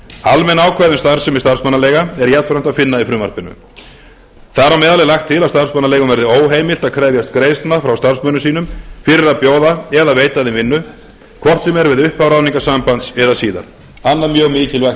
almenn ákvæði um starfsemi starfsmannaleiga er jafnframt að finna í frumvarpinu þar á meðal er lagt til að starfsmannaleigum verði óheimilt að krefjast greiðslna frá starfsmönnum sínum fyrir að bjóða eða veita þeim vinnu hvort sem er við upphaf ráðningarsambands eða síðar annað mjög mikilvægt